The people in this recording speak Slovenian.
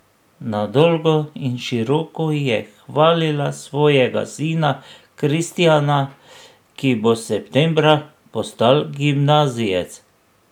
Na dolgo in široko je hvalila svojega sina Kristjana, ki bo septembra postal gimnazijec.